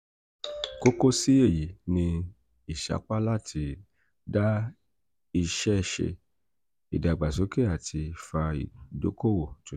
kókó sí èyí ni ìsapá láti dá iṣẹ́ ṣe ìdàgbàsókè àti fa ìdoko-owó tuntun.